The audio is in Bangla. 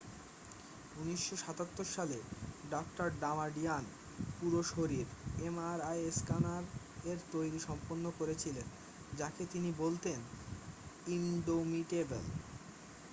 "১৯৭৭ সালে ডাঃ ডামাডিয়ান "পুরো-শরীর" এমআরআই স্ক্যানার এর তৈরী সম্পন্ন করেছিলেন যাকে তিনি বলতেন "ইনডোমিটেবল""।